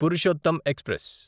Purushottam express